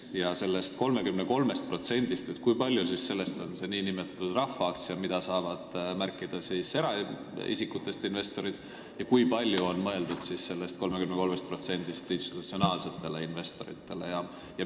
Kui palju sellest 33%-st moodustavad nn rahvaaktsiad, mida saavad märkida eraisikutest investorid, ja kui palju sellest 33%-st on mõeldud institutsionaalsetele investoritele?